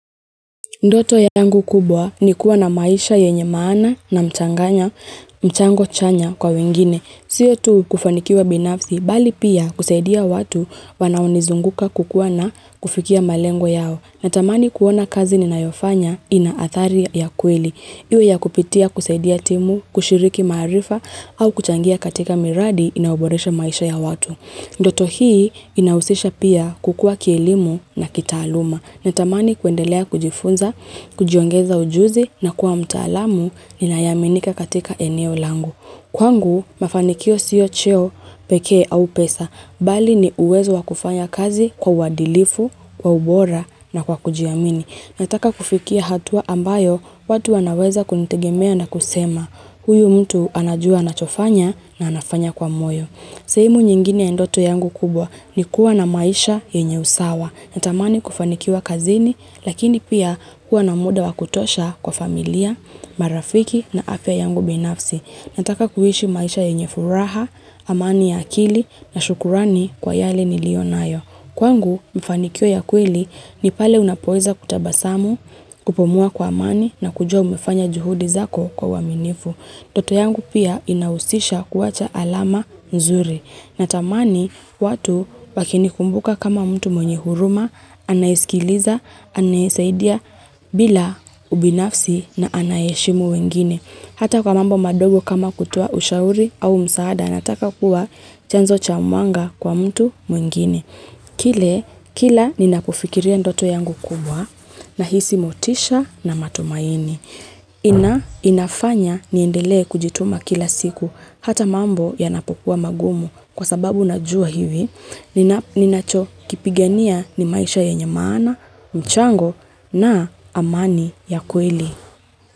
Ndoto yangu kubwa ni kuwa na maisha yenye maana na mchanganya, mchango chanya kwa wengine. Siyo tu kufanikiwa binafsi, bali pia kuseidia watu wanaonizunguka kukuwa na kufikia malengo yao. Natamani kuona kazi ni nayofanya ina athari ya kweli. Iwe ya kupitia kuseidia timu, kushiriki marifa, au kuchangia katika miradi inauboresha maisha ya watu. Ndoto hii inausisha pia kukua kielimu na kitaaluma. Netamani kuendelea kujifunza, kujiongeza ujuzi na kuwa mtaalamu ninayeminika katika eneo langu. Kwangu, mafanikio siyo cheo peke au pesa, bali ni uwezo wakufanya kazi kwa wadilifu, kwa ubora na kwa kujiamini. Nataka kufikia hatua ambayo, watu wanaweza kunitegemea na kusema, huyu mtu anajua anachofanya na anafanya kwa moyo. Sehemu nyingine endoto yangu kubwa ni kuwa na maisha yenye usawa na tamani kufanikiwa kazini lakini pia kuwa na muda wa kutosha kwa familia, marafiki na afya yangu binafsi na taka kuhishi maisha yenye furaha, amani ya akili na shukurani kwa yale nilionayo. Kwangu mifanikio ya kwili ni pale unapoeza kutabasamu, kupomua kwa amani na kujua umefanya juhudi zako kwa waminifu. Ndoto yangu pia inausisha kuwacha alama nzuri. Natamani watu wakinikumbuka kama mtu mwenye huruma, anaiskiliza, anaisaidia bila ubinafsi na anayeshimu wengine. Hata kwa mambo madogo kama kutoa ushauri au msaada nataka kuwa chanzo cha mwanga kwa mtu mwingine. Kile, kila ninapofikiria ndoto yangu kubwa na hisi motisha na matumaini. Inafanya niendele kujituma kila siku hata mambo yanapokua magumu kwa sababu najua hivi. Ninachokipigania ni maisha yenye maana, mchango na amani ya kweli.